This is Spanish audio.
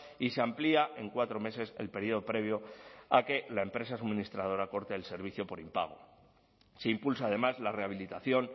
y se amplía en cuatro meses el periodo previo a que la empresa suministradora corte el servicio por impago se impulsa además la rehabilitación